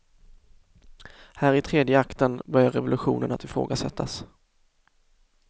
Här, i tredje akten, börjar revolutionen att ifrågasättas.